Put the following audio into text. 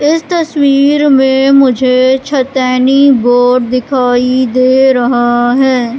इस तस्वीर में मुझे छेतेनी बोर्ड दिखाई दे रहा है।